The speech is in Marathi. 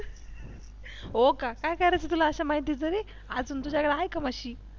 हो का काय करायचे तुला अशा माहितीच रे अजून तुझ्याकडे आहे का म्हशी